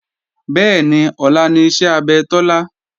Bẹ́ẹ̀ni, ọlá ni iṣẹ́ abẹ Tọ́lá